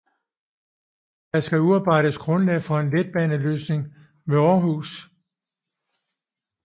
Der skal udarbejdes grundlag for en letbaneløsning ved Århus